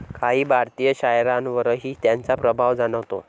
काही भारतीय शायारांवरही त्यांचा प्रभाव जाणवतो.